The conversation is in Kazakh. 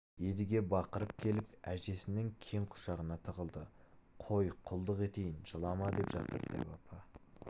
едіге бақырып келіп әжесінің кең құшағына тығылды қой құлдық етейін жылама деп жатыр дәу апа